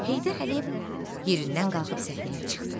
Heydər Əliyev yerindən qalxıb səhnəyə çıxdı.